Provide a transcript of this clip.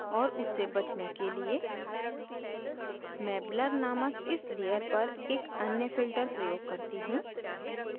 और उससे बचने के लिए मैं blur नामक इस layer पर एक अन्य filter प्रयोग करती हूँ